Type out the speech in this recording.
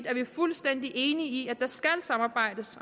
er vi fuldstændig enige i at der skal samarbejdes